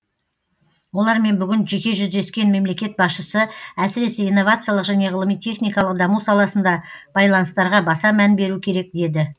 олармен бүгін жеке жүздескен мемлекет басшысы әсіресе инновациялық және ғылыми техникалық даму саласында байланыстарға баса мән беру керек деді